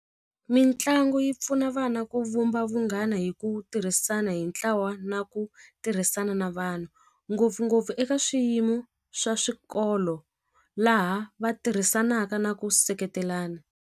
Mitlangu yi pfuna vana ku vumba vunghana hi ku tirhisana hi ntlawa na ku tirhisana na vanhu ngopfungopfu eka swiyimo swa swikolo laha va tirhisanaka na ku seketelana.